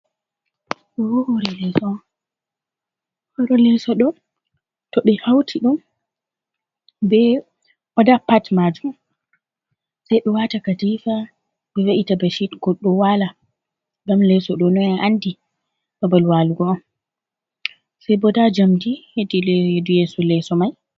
Ɗobo horo on. hore leso ɗo to be hauti ɗum be oɗa pat majum, sai be wata katifa be ve’ita bashit goɗɗo wala ngam leso ɗo no andi babal walugo on. Sai bo nɗaa jamɗi heti leɗu yeso leso mai.